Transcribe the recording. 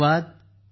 धन्यवाद